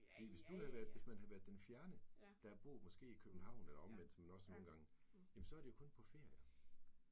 Fordi hvis du have været, hvis man havde været den fjerne, der havde boet måske i København eller omvendt, som man også ser nogle gange, så er det jo kun på ferier